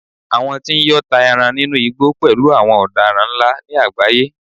àwọn tí n yọ́ ta eran inú igbó pẹlú àwọn odaran nla ni agbaye